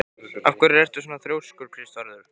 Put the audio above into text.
Af hverju ertu svona þrjóskur, Kristvarður?